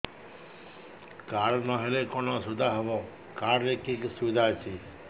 card ନହେଲେ କଣ ଅସୁବିଧା ହେବ କାର୍ଡ ରେ କି କି ସୁବିଧା ଅଛି